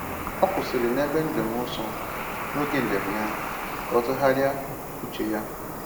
O kwụsịrị n’ebe njem nsọ n’oge njem ya ka o tụgharịa uche ya.